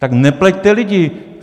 Tak nepleťte lidi!